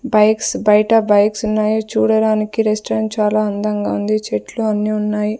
Bikes బయట bikes ఉన్నాయి చూడడానికి రెస్టారెంట్ చాలా అందంగా ఉంది చెట్లు అన్నీ ఉన్నాయి.